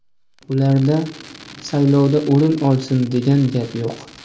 Ularda saylovda o‘rin olsin degan gap yo‘q.